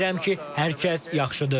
Ümid edirəm ki, hər kəs yaxşıdır.